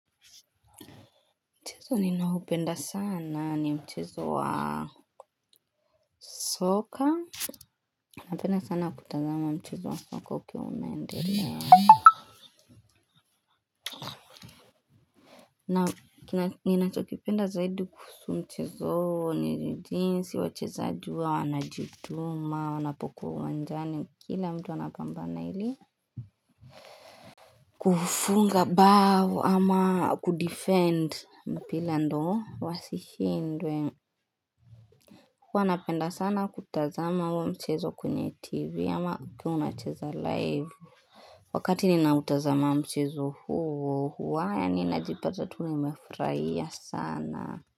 Mchezo ninoupenda sana ni mchezo wa soka. Napenda sana kutazama mchezo wa soka ukeumendelea. Na ninachokipenda zaidi kuhusu mchezo huo ni jinsi, wachezaji huwa, wanajituma, wanapokuwa uwanjani. Kila mtu anapambana ili kufunga bao ama kudefend mpila ndio wasishindwe. Huwa napenda sana kutazama huoa mchezo kwenye tv ama ukiwa unacheza live Wakati ninautazama mchezo huo huwa yaninajipata tul nimefurahia sana.